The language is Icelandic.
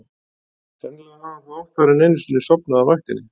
Sennilega hafði hann þó oftar en einu sinni sofnað á vaktinni.